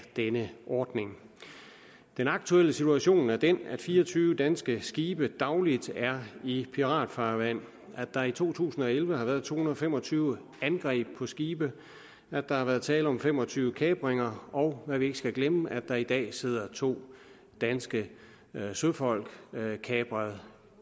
denne ordning den aktuelle situation er den at fire og tyve danske skibe dagligt er i piratfarvande at der i to tusind og elleve har været to hundrede og fem og tyve angreb på skibe at der har været tale om fem og tyve kapringer og hvad vi ikke skal glemme at der i dag sidder to danske søfolk kapret